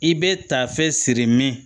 I bɛ ta fɛn siri min